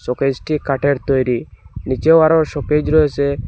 শোকেসটি কাঠের তৈরি নিচেও আরো শোকেজ রয়েসে।